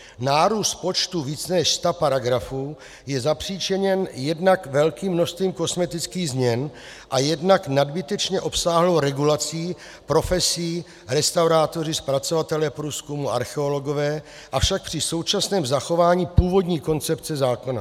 Nárůst počtu více než sta paragrafů je zapříčiněn jednak velkým množstvím kosmetických změn a jednak nadbytečně obsáhlou regulací profesí restaurátoři, zpracovatelé průzkumu, archeologové, avšak při současném zachování původní koncepce zákona.